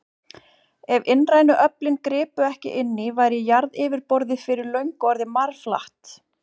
Ef innrænu öflin gripu ekki inn í, væri jarðaryfirborðið fyrir löngu orðið marflatt.